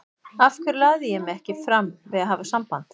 Af hverju lagði ég mig ekki fram við að hafa samband?